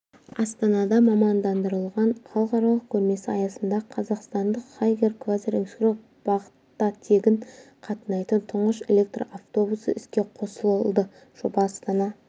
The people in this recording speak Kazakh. астанада мамандандырылған халықаралық көрмесі аясында қазақстандық хайгер квазар экскурсиялық бағыттатегін қатынайтын тұңғыш электр автобусы іске қосылды жоба астана